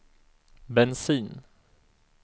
bensin